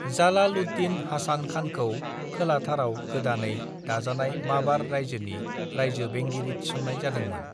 जालाल-उद-दीन हासान खानखौ खोलाथाराव गोदानै दाजानाय माबार रायजोनि रायजो-बेंगिरि थिसननाय जादोंमोन।